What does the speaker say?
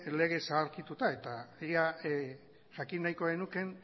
lege zaharkituta eta jakin nahiko genuke